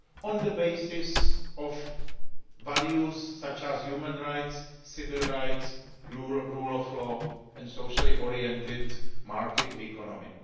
on the basis of values such as human rights, civil rights, the rule of law and a socially oriented market economy.